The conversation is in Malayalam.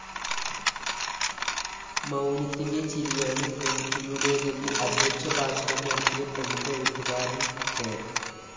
മൗനത്തിന്റെ ചിരിയാണ് എംടിയുടേതെന്ന് അദ്ധ്യക്ഷഭാഷണം നടത്തിയ പ്രമുഖ എഴുത്തുകാരാന്‍ കെ